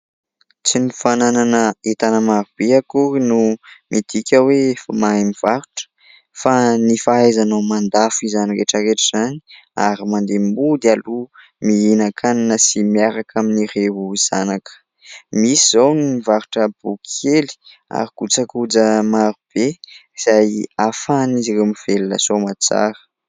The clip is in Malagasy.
Tsy ny fanana hentana maro be akoriny no midika hoe mahay mivarotra fa ny fahaizanao mandafo izany rehetraretra izany ary mande mody aloho mihinakanina sy miharaka amin' ireo zanaka. Misy zao ny mivarotra boky kely ary kojakoja maro be izay afahany izy ireo mivelona somatsara.